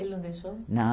Ele não deixou?